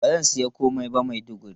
Ba zan sayi komai ba Maiduguri.